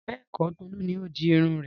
Bẹ́ẹ̀kọ̀, Tolu ni ó di irun rẹ̀.